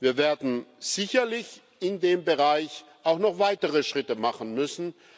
Wir werden sicherlich in dem Bereich auch noch weitere Schritte machen müssen.